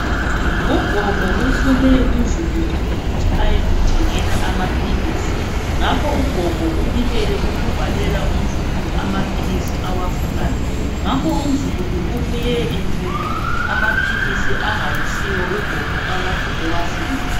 Ugogo uthume umzukulu ukuthi ayemuthengela amaphilisi ngakho ugogo ulibele ukubhalela umzukulu amaphilisi awafunayo ngakho umzukulu ubuye ethwele amaphilisi angayisiwo ugogo akade ewafuna.